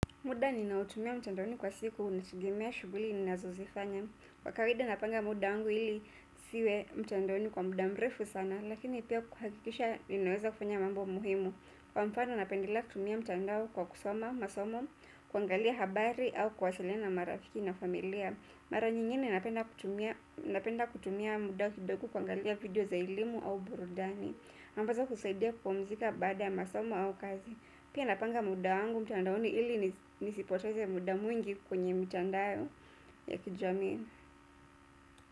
Muda ninaotumia mtandaoni kwa siku unategemea shughuli ninazozifanya. Kwa kawida napanga muda wangu ili nisiwe mtandaoni kwa muda mrefu sana, lakini pia kuhakikisha ninaweza kufanya mambo muhimu. Kwa mfano napendelea kutumia mtandao kwa kusoma, masomo, kuangalia habari au kwasiliana marafiki na familia. Mara nyingine napenda kutumia muda kidogo kuangalia video za elimu au burudani. Ambazo husaidia kupumzika baada ya masomo au kazi. Pia napanga muda wangu mtandaoni ili nisipoteze muda mwingi kwenye mitandao ya kijamii.